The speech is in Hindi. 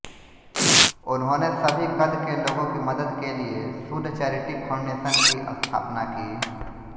उन्होंने सभी कद के लोगों की मदद के लिए सूद चैरिटी फाउंडेशन की स्थापना की